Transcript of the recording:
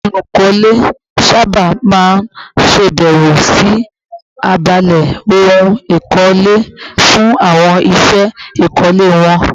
Àwọn olùkọ́ ilé sábà máa ń ṣèbẹ̀wò sí abala ohun èlò ìkọ́lé fún àwọn iṣẹ́ ìkọ́lé wọn